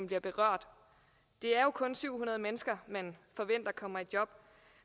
bliver berørt det er jo kun syv hundrede mennesker man forventer kommer i job